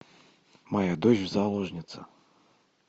моя дочь заложница